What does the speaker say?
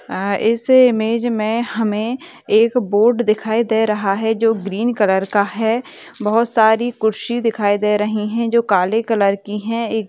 आ इस इमेज में हमें एक बोर्ड दिखाई दे रहा है जो ग्रीन कलर का है बहुत सारी कुर्सी दिखाई दे रहीं हैं जो काले कलर की है एक --